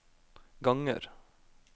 ganger